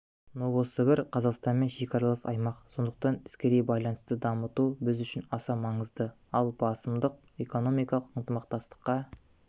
новосібір қазақстанмен шекаралас аймақ сондықтан іскери байланысты дамыту біз үшін аса маңызды ал басымдық экономикалық ынтымақтастыққа